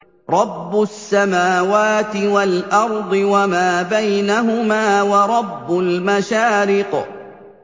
رَّبُّ السَّمَاوَاتِ وَالْأَرْضِ وَمَا بَيْنَهُمَا وَرَبُّ الْمَشَارِقِ